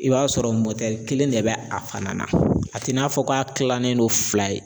I b'a sɔrɔ kelen de bɛ a fana na a t'i n'a fɔ k'a tilalen don fila ye